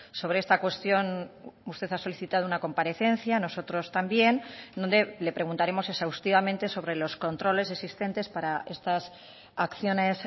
sobre esta cuestión usted ha solicitado una comparecencia nosotros también donde le preguntaremos exhaustivamente sobre los controles existentes para estas acciones